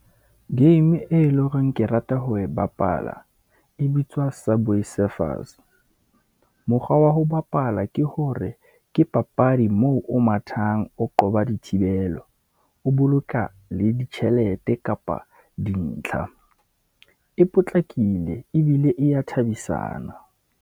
Game e leng horeng ke rata ho e bapala, e bitswa subway surfers. Mokgwa wa ho bapala ke hore ke papadi moo o mathang, o qoba dithibelo. O boloka le ditjhelete kapa dintlha, e potlakile ebile e ya thabisana.